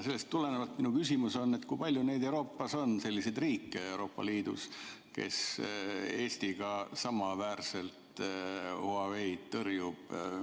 Sellest tulenevalt on minu küsimus, et kui palju selliseid riike Euroopa Liidus on, kes Eestiga samaväärselt Huaweid tõrjuvad.